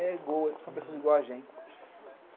são pessoas iguais a gente.